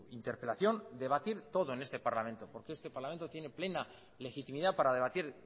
interpelación debatir todo en este parlamento porque este parlamento tiene plena legitimidad para debatir